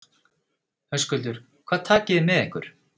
Höskuldur: Hvað takið þið með ykkur?